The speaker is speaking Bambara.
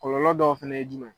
Kɔlɔlɔ dɔw fɛnɛ ye jumɛn ye.